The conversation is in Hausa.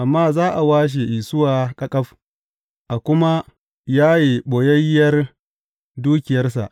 Amma za a washe Isuwa ƙaƙaf, a kuma yaye ɓoyayyiyar dukiyarsa!